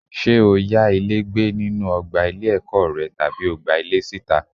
Ṣé o yá ilé gbé nínú ọgbà ilé-ẹ̀kọ́ rẹ tàbí o gba ilé síta?